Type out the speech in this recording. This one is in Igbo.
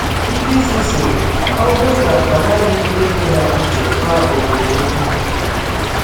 Ndị isi sịrị: “Ọ bụrụ na ọ naghị ege ha ntị, gwa obodo okwu.”